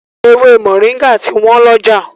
Ewé Moringa ti wọ́n lọ́jà.